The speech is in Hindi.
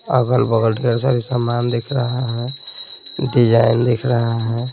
अगल-बगल ढेर सारे सामान दिख रहा है डिज़ाइन दिख रहा है।